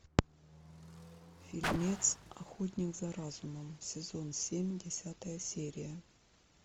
фильмец охотник за разумом сезон семь десятая серия